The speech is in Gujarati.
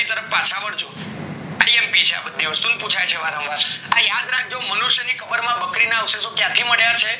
આ લખ્લી છે અને પુછાય છે વારંવાર યા યાદ રાખજો મનુષ્ય ની કબર માં બકરી ના અવશેષો ક્યાંથી મળ્યા છે